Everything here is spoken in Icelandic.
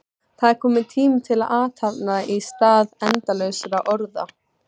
Það er kominn tími til athafna í stað endalausra orða.